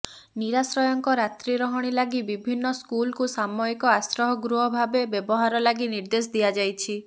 ନିରାଶ୍ରୟଙ୍କ ରାତ୍ରିି ରହଣି ଲାଗି ବିଭିନ୍ନ ସ୍କୁଲକୁ ସାମୟିକ ଆଶ୍ରୟ ଗୃହ ଭାବେ ବ୍ୟବହାର ଲାଗି ନିର୍ଦ୍ଦେଶ ଦିଆଯାଇଛି